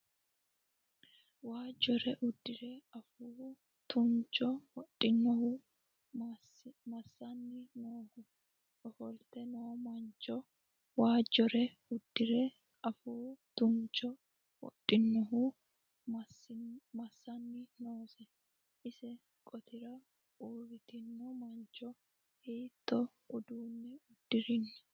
Waajjore uddire afuu tuancho wodhinohu massanni nooho? Ofolte noo mancho waajjore uddire afuu tuancho wodhinohu massanni noose? Isi qotira uurritino mancho hiittoo uddano uddi'rino.